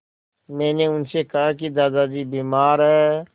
मैंने उनसे कहा कि दादाजी बीमार हैं